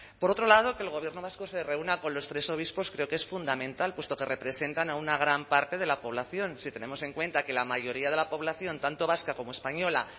por otro lado que el gobierno vasco se reúna con los tres obispos creo que es fundamental puesto que representan a una gran parte de la población si tenemos en cuenta que la mayoría de la población tanto vasca como española